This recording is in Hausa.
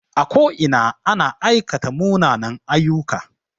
A ko ina ana aikata munanen aiyyuka